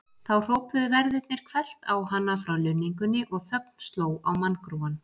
Þá hrópuðu verðirnir hvellt á hana frá lunningunni og þögn sló á manngrúann.